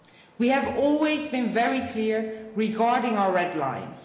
We have always been very clear regarding our red lines.